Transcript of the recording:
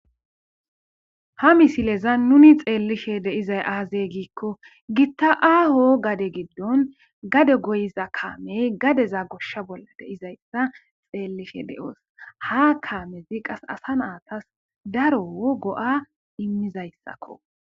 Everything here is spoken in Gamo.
Ha misileza nuni xeellishe deizay aazey giikko gitta aaho gade giddon gade goyiza kaamey gadeza goshsha bolla deizayssa xeellishe de7oos ha kaamezi qas asa naatas daro go7a immizayssakko.